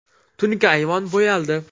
Tunuka ayvon bo‘yaldi.